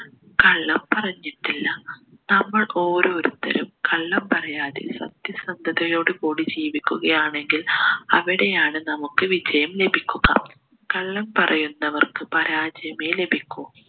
കള്ളം പറഞ്ഞിട്ടില്ല നമ്മൾ ഓരോരുത്തരും കള്ളം പറയാതെ സത്യസന്ധതയോട് കൂടി ജീവിക്കുകയാണെങ്കിൽ അവിടെയാണ് നമ്മുക്ക് വിജയം ലഭിക്കുക കള്ളം പറയുന്നവർക്ക് പരാജയമേ ലഭിക്കു